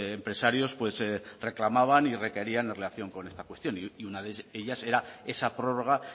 empresarios pues reclamaban y requerían en relación con esta cuestión y una de ellas era esa prórroga